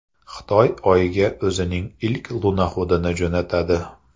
Xitoy Oyga o‘zining ilk lunoxodini jo‘natadi.